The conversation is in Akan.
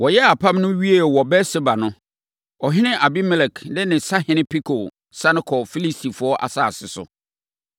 Wɔyɛɛ apam no wiee wɔ Beer-Seba no, ɔhene Abimelek ne ne Sahene Pikol sane kɔɔ Filistifoɔ asase so.